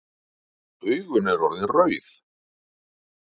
Augun eru orðin rauð.